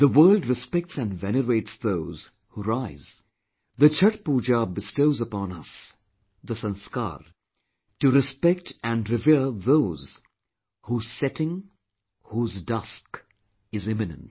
The world respects & venerates those who rise; the Chatth Pooja bestows upon us the sanskaar to respect & revere those whose setting, whose dusk is imminent